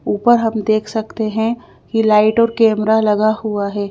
ऊपर हम देख सकते हैं कि लाइट और कैमरा लगा हुआ है।